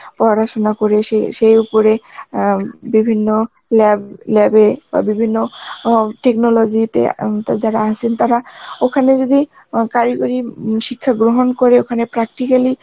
পড়াশোনা করে সে সেই উপরে অ্যাঁ বিভিন্য lab, lab এ বা বিভিন্য অং technology তে যারা আছেন তারা ওখানে যদি অ্যাঁ কারগরি শিক্ষা গ্রহণ করে ওখানে practicall